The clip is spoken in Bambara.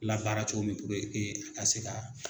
Labaara cogo min ka se ka.